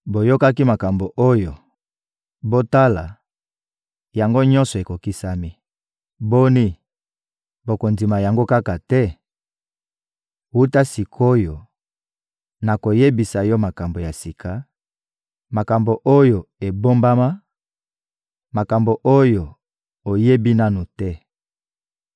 Boyokaki makambo oyo! Botala, yango nyonso ekokisami. Boni, bokondima yango kaka te? Wuta sik’oyo, nakoyebisa yo makambo ya sika, makambo oyo ebombama, makambo oyo oyebi nanu te.